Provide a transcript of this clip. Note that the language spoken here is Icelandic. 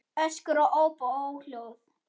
Öskur og óp og óhljóð.